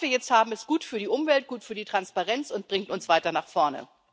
Was wir jetzt haben, ist gut für die Umwelt, gut für die Transparenz und bringt uns weiter nach vorne.